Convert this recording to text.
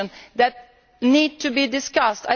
that needs to be discussed.